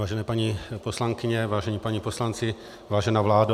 Vážené paní poslankyně, vážení páni poslanci, vážená vládo.